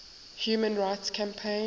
human rights campaign